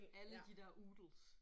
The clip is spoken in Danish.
Alle de der oodles